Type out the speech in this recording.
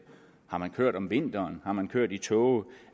kørt om vinteren har man kørt i tåge